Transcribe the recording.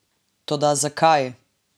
Toda zakaj?